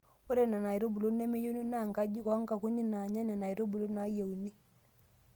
Ore Nena aitubulu nemeyieuni naa nkajijik oo nkukuni naanya Nena aitubulu naayieuni.